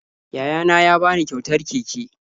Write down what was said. Yayana ya ba ni kyautar keke